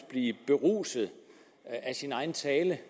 blive beruset af sin egen tale